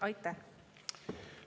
Aitäh!